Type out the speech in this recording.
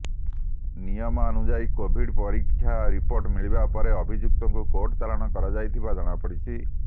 ନିୟମାନୁଯାୟୀ Covid ପରୀକ୍ଷା report ମିଳିବା ପରେ ଅଭିଯୁକ୍ତଙ୍କୁ କୋର୍ଟ ଚାଲାଣ କରାଯାଇଥିବା ଜଣାପଡିଛି